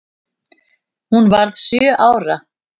Hún varð sjö ára.